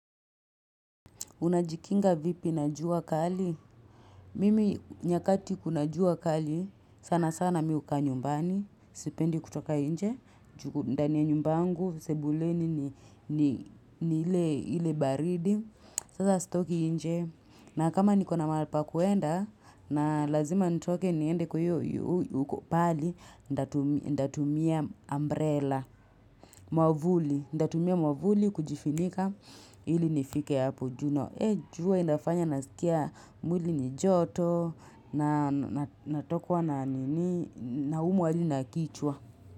Unajikinga vipi na jua kali? Mimi nyakati kuna jua kali sana sana mi hukaa nyumbani, sipendi kutoka inje, ju ndani ya nyumba yangu, sebuleni ni ile baridi, sasa sitoki inje. Na kama niko na mahali pa kuenda, na lazima nitoke niende kwa iyo huko pahali, ndatumia umbrela, mwavuli, ndatumia mwavuli kujifinika ili nifike hapo ju no. Eh jua inafanya nasikia mwili ni joto, natokwa na nini naumwa hadi na kichwa.